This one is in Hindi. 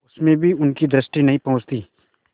उसमें भी उनकी दृष्टि नहीं पहुँचती